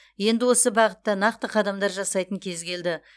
енді осы бағытта нақты қадамдар жасайтын кез келді